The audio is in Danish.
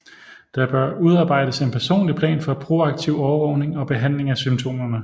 Der bør udarbejdes en personlig plan for proaktiv overvågning og behandling af symptomerne